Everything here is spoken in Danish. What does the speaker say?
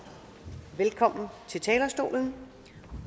velkommen til talerstolen